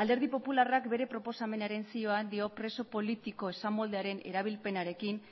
alderdi popularrak bere proposamenaren zioan dio preso politiko esamoldearen erabilpenarekin